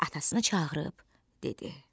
Atasını çağırıb dedi: